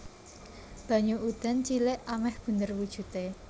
Banyu udan cilik amèh bunder wujudé